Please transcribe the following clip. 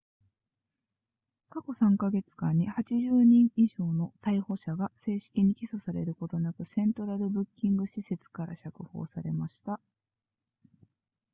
過去3カ月間に80人以上の逮捕者が正式に起訴されることなくセントラルブッキング施設から釈放されました